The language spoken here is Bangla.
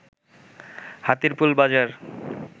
হাতিরপুল বাজার